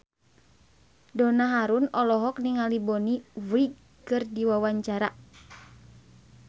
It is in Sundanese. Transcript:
Donna Harun olohok ningali Bonnie Wright keur diwawancara